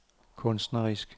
kunstnerisk